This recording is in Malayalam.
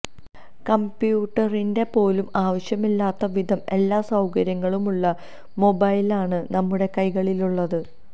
കംപ്യൂട്ടറിന്റെ പോലും ആവശ്യമില്ലാത്ത വിധം എല്ലാ സൌകര്യങ്ങളുമുള്ള മൊബൈലാണ് നമ്മുടെ കൈകളിലുള്ളത്